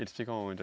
Eles ficam onde?